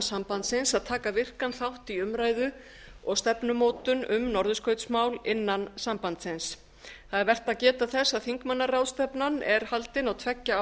sambandsins að taka virkan þátt í umræðu og stefnumótun um norðurskautsmál innan sambandsins það er vert að geta þess að þingmannaráðstefnan er haldin á tveggja